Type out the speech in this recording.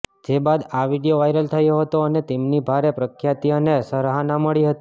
જે બાદ આ વીડિયો વાયરલ થયો હતો અને તેમની ભારે પ્રખ્યાતિ અને સરાહના મળી હતી